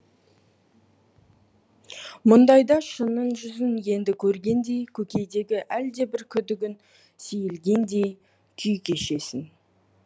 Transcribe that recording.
мұндайда шынның жүзін енді көргендей көкейдегі әлдебір күдігің сейілгендей күй кешесің